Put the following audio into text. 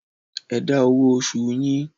Ẹ dá owó oṣòòṣù yín.